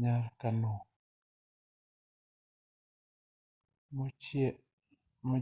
kar kano mo